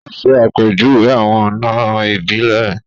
O ṣe àpèjúwe awọn ọna ibilẹ